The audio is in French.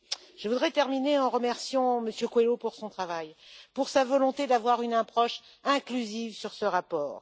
Je voudrais terminer en remerciant M. Coelho pour son travail, pour sa volonté d'avoir une approche inclusive sur ce rapport.